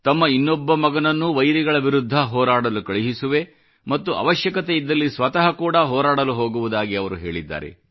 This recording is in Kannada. ತಮ್ಮ ಇನ್ನೊಬ್ಬ ಮಗನನ್ನೂ ವೈರಿಗಳ ವಿರುದ್ಧ ಹೋರಾಡಲು ಕಳುಹಿಸುವೆ ಮತ್ತು ಅವಶ್ಯಕತೆಯಿದ್ದಲ್ಲಿ ಸ್ವತಃ ಕೂಡಾ ಹೋರಾಡಲು ಹೋಗುವುದಾಗಿ ಅವರು ಹೇಳಿದ್ದಾರೆ